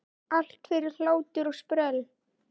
Allt fyrir hlátur og sprell!